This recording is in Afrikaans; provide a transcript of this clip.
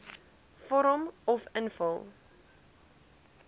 vorm uf invul